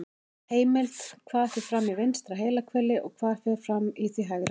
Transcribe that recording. Heimild: Hvað fer fram í vinstra heilahveli og hvað fer fram í því hægra?